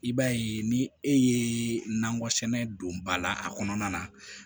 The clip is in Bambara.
I b'a ye ni e ye nakɔ sɛnɛ don ba la a kɔnɔna na